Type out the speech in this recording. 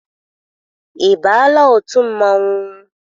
Ị baala otu mmanwụ?